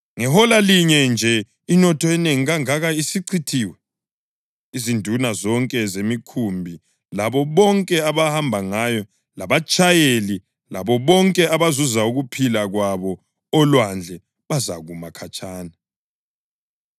Ngehola linye nje inotho enengi kangaka isichithiwe!” Izinduna zonke zemikhumbi labo bonke abahamba ngayo labatshayeli labo bonke abazuza ukuphila kwabo olwandle bazakuma khatshana.